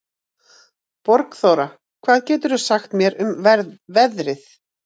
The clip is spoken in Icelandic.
Borgþóra, hvað geturðu sagt mér um veðrið?